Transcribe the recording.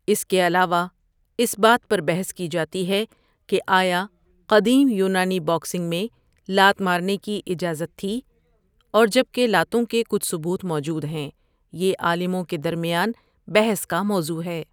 اس کے علاوہ، اس بات پر بحث کی جاتی ہے کہ آیا قدیم یونانی باکسنگ میں لات مارنے کی اجازت تھی، اور جب کہ لاتوں کے کچھ ثبوت موجود ہیں، یہ عالموں کے درمیان بحث کا موضوع ہے۔